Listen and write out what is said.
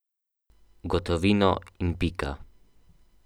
Gotovino in pika.